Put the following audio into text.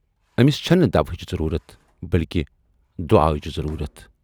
ٲمِس چَھنہٕ دوہٕچ ضروٗرتھ، بٔلۍکہِ چَھس دُعاہُچ ضروٗرتھ۔